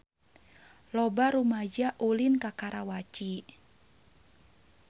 Loba rumaja ulin ka Karawaci